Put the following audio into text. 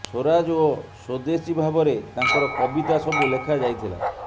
ସ୍ବରାଜ ଓ ସ୍ବଦେଶୀ ଭାବରେ ତାଙ୍କର କବିତା ସବୁ ଲେଖାଯାଇଥିଲା